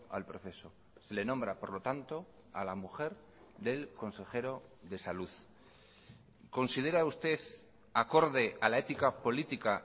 al proceso se le nombra por lo tanto a la mujer del consejero de salud considera usted acorde a la ética política